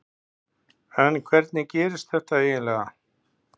En hvernig gerðist þetta eiginlega?